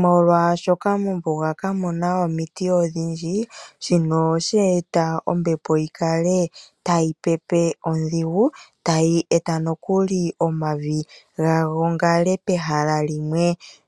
Molwaashoka mombuga kamu na omiti odhindji, shino osheeta ombepo yi kale tayi pepe odhigu, ta yi eta nokuli omavi ga gongale pehala limwe,